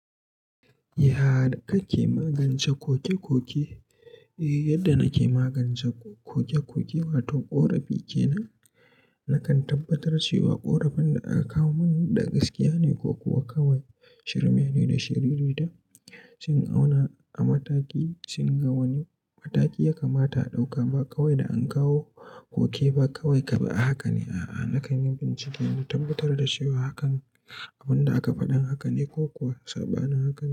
Ya ka ke magance koke-koke? Eh, yadda na ke magance koke-koke, wato ƙorafi kenan. Nakan tabbatar cewa ƙorafin da aka kawo mini da gaskiya ne, ko kuwa kawai shirme ne da shiriri ta, sai in auna a mataki, sai in ga wani mataki ya kamata a ɗauka, ba kawai da an kawo koke ba kawai kaɓi haka ne. A'a, nakan yi bincike na tabbatar da cewa hakan abun da aka faɗan haka ne, ko ko saɓanin haka.